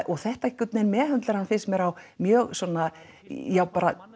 og þetta einhvern veginn meðhöndlar hann finnst mér á mjög svona ja